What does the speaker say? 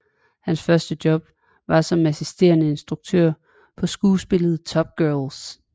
Hans første job var som assisterende instruktør på skuespillet Top Girls